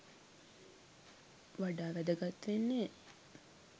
වඩා වැදගත් වෙන්නෙ.